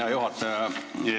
Hea juhataja!